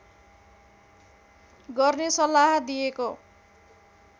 गर्ने सल्लाह दिएको